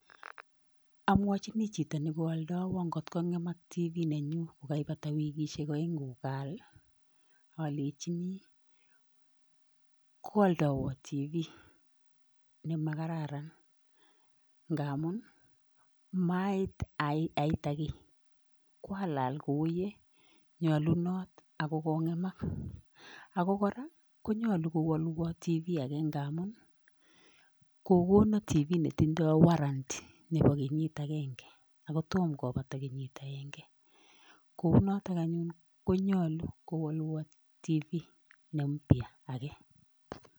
Amwochini chito nekoaldoiwo nkot kong'emak television nenyu kokaipata wikishek aeng'u kokaal alechini koaldowo television nemakararan ngamun maait aita kiy kwalal kou yenyolunot ako kong'emak. ako kora konyolu kowolwo television ake ngamun kokono television netondoi [sc]warranty nepo kenyit akenke ako tom kopata kenyit akenke. kounoto anyun konyolu kowolwo television ne mpya ake.